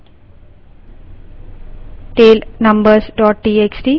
tail numbers txt